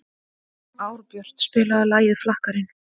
Árbjört, spilaðu lagið „Flakkarinn“.